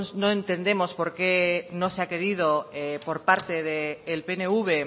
no entendemos por qué no se ha querido por parte del pnv